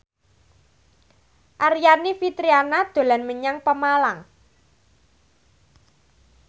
Aryani Fitriana dolan menyang Pemalang